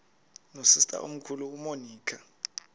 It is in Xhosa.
nosister omkhulu umonica